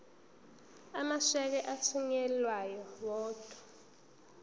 amasheke athunyelwa odwa